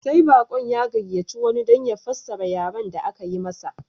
Sai baƙon ya gayyaci wani don ya fassara yaren da aka yi masa